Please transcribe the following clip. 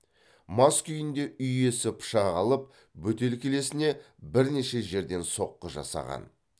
мас күйінде үй иесі пышақ алып бөтелкелесіне бірнеше жерден соққы жасаған